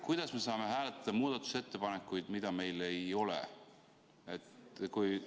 Kuidas me saame hääletada muudatusettepanekuid, mida meil ei ole?